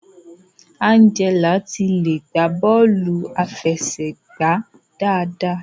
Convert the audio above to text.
Angela ti le gba bọọlu afẹsẹgba dáadáa.